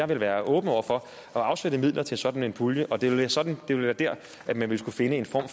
vil være åben over for at afsætte midler til sådan en pulje og det være sådan at man vil skulle finde en form